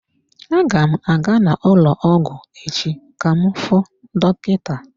Aga m aga n'ụlọ ọgwụ echi ka m fuu dọkịta.